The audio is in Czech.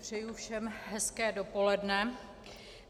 Přeji všem hezké dopoledne.